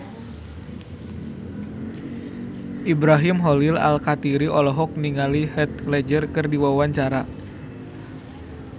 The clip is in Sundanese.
Ibrahim Khalil Alkatiri olohok ningali Heath Ledger keur diwawancara